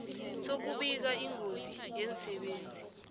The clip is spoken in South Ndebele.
sokubika ingozi yemsebenzini